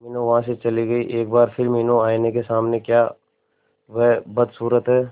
मीनू वहां से चली गई एक बार फिर मीनू आईने के सामने क्या वह बदसूरत है